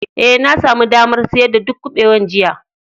Ee, na sami damar siyar da duk kubewan jiya.